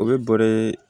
O bɛ bɔrɛ